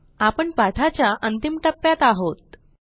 आपण पाठाच्या अंतिम टप्प्यात आहोत